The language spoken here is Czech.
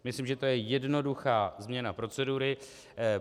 Myslím, že je to jednoduchá změna procedury.